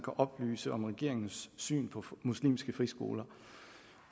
oplyse om regeringens syn på muslimske friskoler